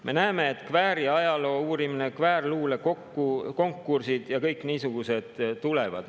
Me näeme, et tulevad kvääriajaloo uurimine, kvääriluule konkursid ja kõik niisugused asjad.